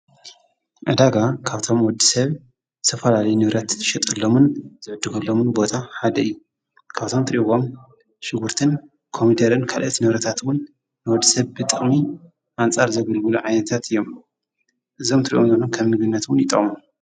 ዕዳጋ ካብቶም ወዲ ሰብ ዝተፈላለዩ ንብረት ዝሽጥሎምን ዝዕድጕሎምን ቦታ ሓደ እዩ። ካብቶም ትሪእዎም ሽጕርትን ኮሚደረን ካልኦት ንብረታት'ውን ንወድ ሰብ ብጥቅሚ ኣንፃር ዘገልግሉ ዓይነታት እዮም እዞም ትርኢዎም ከም ምግብነት'ዉን ይጠቅሙ።